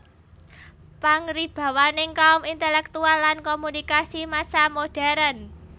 Pangaribawaning kaum intelektual lan komunikasi massa modern